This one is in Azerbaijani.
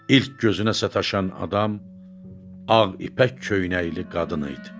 İlk gözünə sataşan adam, ağ ipək köynəkli qadın idi.